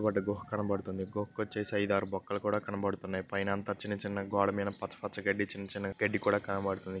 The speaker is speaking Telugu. ఒకటి గుహ కనబడుతుంది. ఒక్కోచ్చేసి ఐదు ఆరు బొక్కలు కూడా కనబడుతున్నాయి. పైన అంతా చిన్నచిన్న గోడమీద పచ్చ పచ్చ గడ్డి చిన్నచిన్న గడ్డి కూడా కనబడుతుంది.